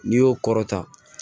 N'i y'o kɔrɔta